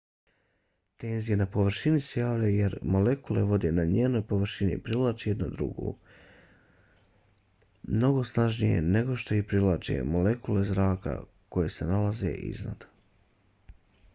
tenzija na površini se javlja jer molekule vode na njenoj površini privlače jedna drugu mnogo snažnije nego što ih privlače molekule zraka koje se nalaze iznad